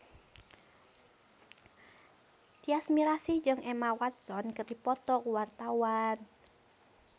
Tyas Mirasih jeung Emma Watson keur dipoto ku wartawan